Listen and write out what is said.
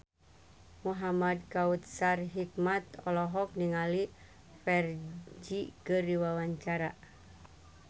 Muhamad Kautsar Hikmat olohok ningali Ferdge keur diwawancara